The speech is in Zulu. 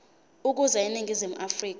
ukuza eningizimu afrika